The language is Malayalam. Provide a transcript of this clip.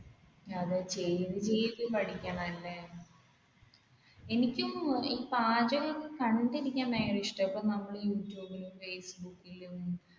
എനിക്കും ഈ പാചകം കണ്ടിരിക്കാൻ ഭയങ്കര ഇഷ്ടമാണ് ഇപ്പൊ നമ്മൾ യൂടുബിലും ഫേസ്ബുക്കിലും